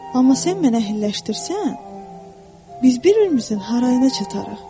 Amma sən məni əhilləşdirsən, biz bir-birimizin harayına çatarıq.